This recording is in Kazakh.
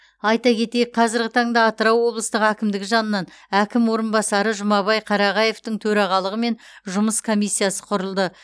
айта кетейік қазырғы таңда атырау облыстық әкімдігі жанынан әкім орынбасары жұмабай қарағаевтың төрағалығымен жұмыс комиссиясы құрылды